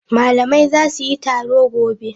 Malamai za su yi taro gobe.